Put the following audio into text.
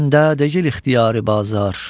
Məndə deyil ixtiyari bazar.